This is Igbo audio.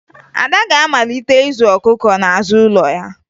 Ada ga-amalite ịzụ ọkụkọ n'azụ ụlọ ha